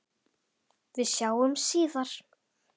Við sjáumst síðar.